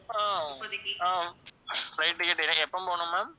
ஆஹ் ஆஹ் flight ticket இருக்கு எப்போ போகணும் ma'am